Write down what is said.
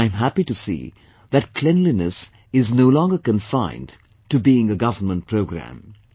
And I'm happy to see that cleanliness is no longer confined to being a government programme